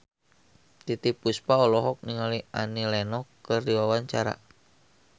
Titiek Puspa olohok ningali Annie Lenox keur diwawancara